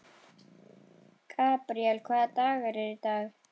Gabríel, hvaða dagur er í dag?